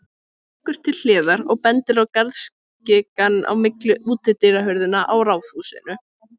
Hann víkur til hliðar og bendir á garðskikann á milli útidyrahurðanna á raðhúsinu.